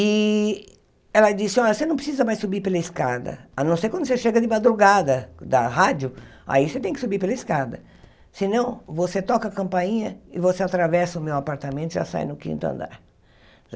E ela disse, olha, você não precisa mais subir pela escada, a não ser quando você chega de madrugada da rádio, aí você tem que subir pela escada, senão você toca a campainha e você atravessa o meu apartamento e já sai no quinto andar.